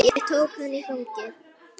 Ég tók hana í fangið.